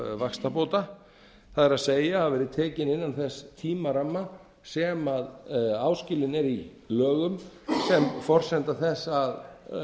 vaxtabóta það er ef þau eru tekin innan þess tímaramma sem áskilinn er í lögum sem forsenda þess að